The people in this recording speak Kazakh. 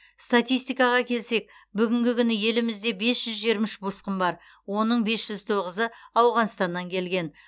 статистикаға келсек бүгінгі күні елімізде бес жүз жиырма үш босқын бар оның бес жүз тоғызы ауғанстаннан келген